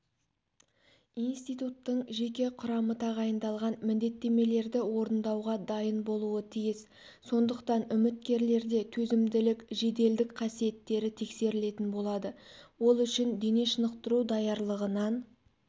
институттың жеке құрамы тағайындалған міндеттемелерді орындауға дайын болуы тиіс сондықтан үміткерлерде төзімділік жеделдік қасиеттері тексерілетін болады ол үшін дене шынықтыру даярлығынан